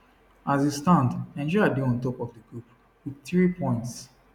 as e stand nigeria dey top of di group wit three points